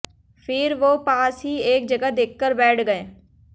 फिर वो पास ही एक जगह देखकर बैठ गए